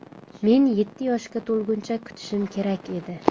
Men yetti yoshga to‘lguncha kutishim kerak edi.